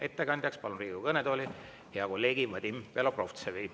Ettekandjaks palun Riigikogu kõnetooli hea kolleegi Vadim Belobrovtsevi.